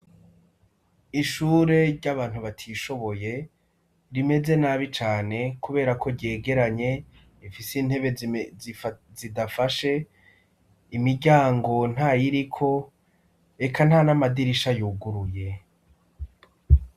Ishure ry'abantu batishoboye rimeze nabi cane, kubera ko ryegeranye ifise intebe zidafashe imiryango nta yiriko eka nta n'amadirisha yuguruye.